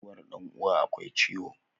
Mutuwar dan uwa akwai ciwo